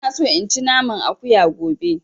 Ina so in ci naman Akuya gobe